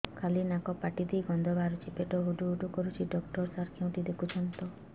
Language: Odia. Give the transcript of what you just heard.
ଖାଲି ନାକ ପାଟି ଦେଇ ଗଂଧ ବାହାରୁଛି ପେଟ ହୁଡ଼ୁ ହୁଡ଼ୁ କରୁଛି ଡକ୍ଟର ସାର କେଉଁଠି ଦେଖୁଛନ୍ତ